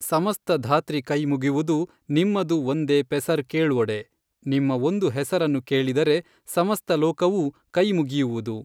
ಸಮಸ್ತ ಧಾತ್ರಿ ಕೈಯ್ಮುಗಿವುದು ನಿಮ್ಮದು ಒಂದೆ ಪೆಸರ್ ಕೇಳ್ವೊಡೆ ನಿಮ್ಮಒಂದು ಹೆಸರನ್ನು ಕೇಳಿದರೆ ಸಮಸ್ತ ಲೋಕವೂ ಕೈಮುಗಿಯುವುದು.